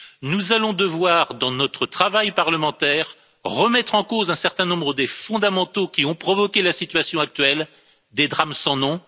Nous allons devoir dans notre travail parlementaire, remettre en cause un certain nombre des fondamentaux qui ont provoqués la situation actuelle, des drames sans nom.